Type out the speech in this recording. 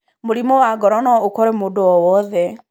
Mũrimũ wa ngoro no ũkore mũndũ o wothe.